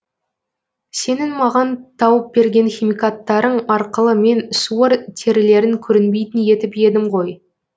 сенің маған тауып берген химикаттарың арқылы мен суыр терілерін көрінбейтін етіп едім ғой